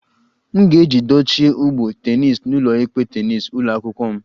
M ga-eji dochie ụgbụ tennis n'ụlọikpe tennis ụlọ akwụkwọ m